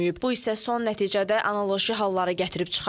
Bu isə son nəticədə analoji hallara gətirib çıxarır.